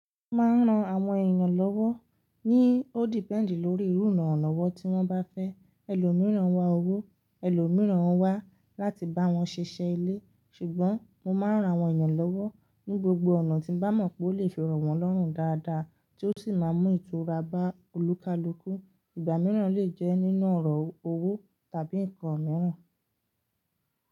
Mo máa ń ran àwọn èèyàn lọ́wọ́ ní ó depẹ̀nd lórí irú ìrànlọ́wọ́ tí wọ́n bá fẹ́. Ẹlòmíràn wá owó, ẹlòmíràn wá láti bá wọn ṣiṣẹ́ ilé. Ṣùgbọ́n mo máa ń ran àwọn èèyàn lọ́wọ́ ní gbogbo ọ̀nà tí n bá mọ̀ pé ó lè fi rọ́ wọ́n lọ́rùn dáadáa tí ó sì máa mú ìtura bá olúkalúkú. Ìgbà mìíràn olè jẹ́ nínú ọ̀rọ̀ owó tàbí nǹkan mìíràn.